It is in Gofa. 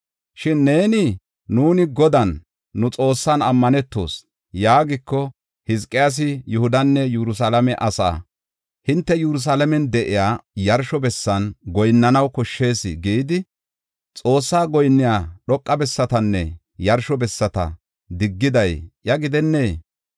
Shin neeni, ‘Nuuni Godan, nu Xoossan, ammanetoos’ yaagiko, Hizqiyaasi Yihudanne Yerusalaame asaa, ‘Hinte Yerusalaamen de7iya yarsho bessan goyinnanaw koshshees’ gidi, Xoossaa goyinniya dhoqa bessatanne yarsho bessata diggiday iya gidennee?